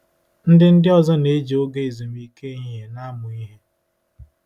Ndị Ndị ọzọ na-eji oge ezumike ehihie na-amụ ihe.